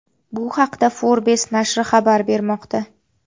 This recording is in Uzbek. Bu haqda Forbes nashri xabar bermoqda .